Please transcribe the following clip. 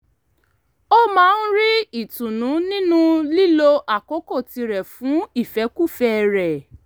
ó máa ń rí ìtùnú nínú lílo àkókò tirẹ̀ fún ìfẹ́kúfẹ̀ẹ́ rẹ̀